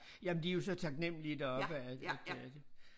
Jamen de jo så taknemmelige deroppe at at det er det